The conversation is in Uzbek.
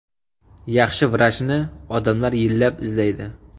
Yaxshi vrachni odamlar yillab izlaydi.